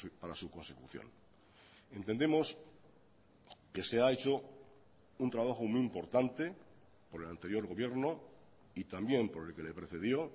para su consecución entendemos que se ha hecho un trabajo muy importante por el anterior gobierno y también por el que le precedió